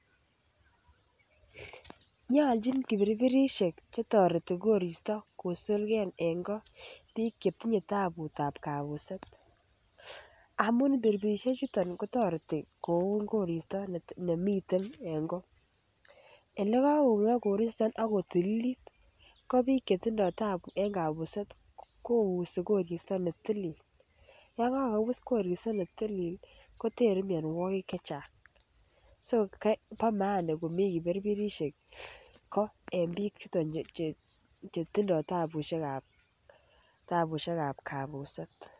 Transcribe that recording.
Nyalchin kibiribirisiek chetoreti korista bik chetinye tabutab kabuset amuun birbirisiek chuton kotareti kouni korista nemi ten en ko elekakounok korista Ako tililit ko bik chetindo t taabu en kabuset ih kochutyi korista netilil kotere mianuakig chechang so bo maana komi kibiribirisiek ko en bik chuton che tabuosiekab kabuset